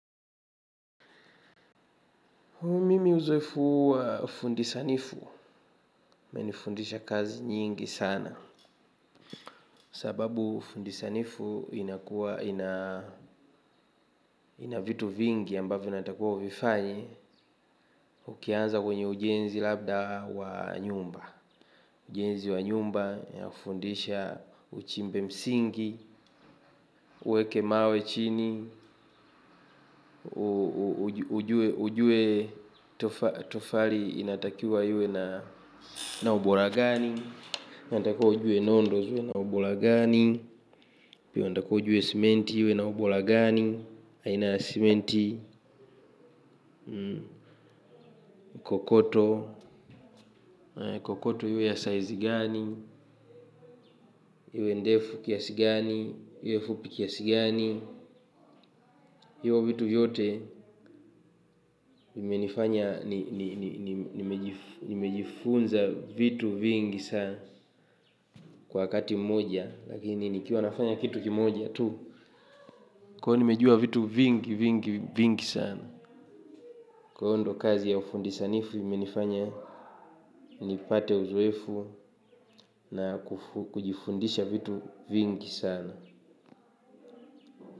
Mimi uzoefu wa fundisanifu, umenifundisha kazi nyingi sana sababu ufundi sanifu inakua ina vitu vingi ambavyo unatakiwa uvifanye. Ukianza kwenye ujenzi labda wa nyumba ujenzi wa jumba inafundisha uchimbe msingi ueje mawe chini. Ujue tofali inatakiwa iwe na ubora gani unatakiwa ujue nondo iwe na ubora gani inatakiwa ujue simiti iwe na ubora gani aina ya simiti kokoto, kokoto iwe size gani, iwe ndefu kiasi gani, iwe fupi kiasi gani. Hivyo vitu vyote nimejifunza vitu vingi sana kwa wakati moja. Lakini nikiwa nafanya kitu kimoja tu. Kwa hio nimejua vitu vingi vingi sana. Kwa hivyo ndio kazi ya ufundisanifu imenifanya nipate uzoefu na kujifundisha vitu vingi sana.